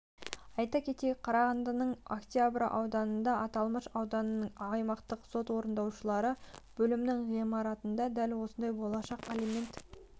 айта кетейік қарағандының октябрь ауданында аталмыш ауданының аймақтық сот орындаушылары бөлімінің ғимаратында дәл осындай болашақ алимент